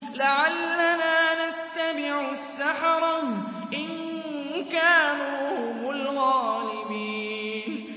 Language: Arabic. لَعَلَّنَا نَتَّبِعُ السَّحَرَةَ إِن كَانُوا هُمُ الْغَالِبِينَ